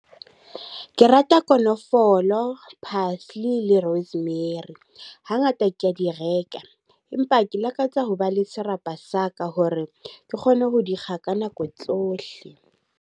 Ke rata konofolo, parsley le rosemary. Ha ngata ke a di reka. Empa ke lakatsa ho ba le serapa sa ka hore ke kgone ho di kga ka nako tsohle.